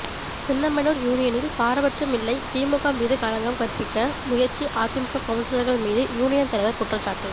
சின்னமனூர் யூனியனில் பாரபட்சம் இல்லை திமுக மீது களங்கம் கற்பிக்க முயற்சி அதிமுக கவுன்சிலர்கள் மீது யூனியன் தலைவர் குற்றச்சாட்டு